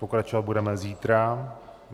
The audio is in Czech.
Pokračovat budeme zítra.